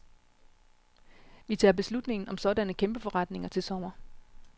Vi tager beslutningen om sådanne kæmpeforretninger til sommer.